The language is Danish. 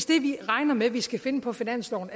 det vi regner med at vi skal finde på finansloven